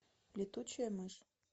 летучая мышь